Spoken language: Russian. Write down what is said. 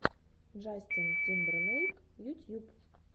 джастин тимберлейк ютьюб